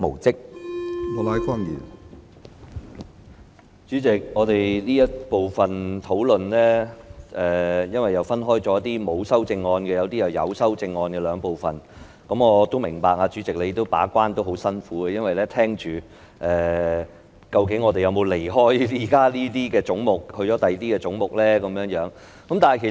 主席，這個討論環節因為涉及部分沒有修正案，以及部分有修正案的總目，我明白主席把關也很辛苦，因為要留意我們討論有關的總目時究竟有否離題討論其他總目。